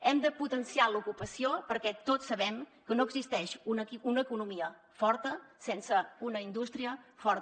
hem de potenciar l’ocupació perquè tots sabem que no existeix una economia forta sense una indústria forta